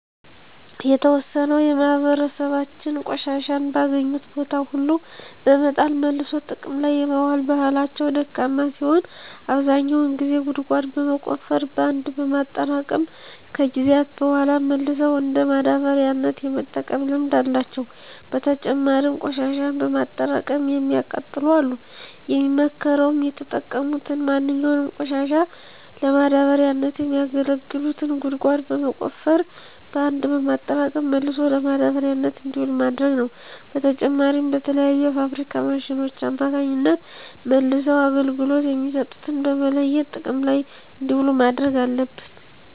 የተዎሰነው የማህበራሰባችን ቆሻሻን በአገኙት ቦታ ሁሉ በመጣል መልሶ ጥቅም ላይ የማዋል ባህላቸው ደካማ ሲሆን አብዛኛው ግን ጉድጓድ በመቆፈር በአንድ በማጠራቀም ከጊዜያት በሗላ መልሰው እንደ ማዳበሪያነት የመጠቀም ልምድ አላቸው። በተጨማሪም ቆሽሻን በማጠራቀም የሚያቃጥሉ አሉ። የሚመከረውም የተጠቀሙትን ማንኛውንም ቆሻሻ ለማዳበሪያነት የሚያገለግሉትን ጉድጓድ በመቆፈር በአንድ በማጠራቀም መልሶ ለማዳበሪያነት እንዲውል ማድረግ ነው። በተጨማሪም በተለያዩ የፋብሪካ ማሽኖች አማካኝነት መልሰው አገልግሎት የሚሰጡትን በመለየት ጥቅም ላይ እንዲውሉ ማድረግ አለብን።